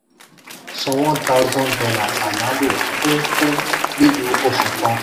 san one thousand dollars ayálò fún fún lílò oṣù kan.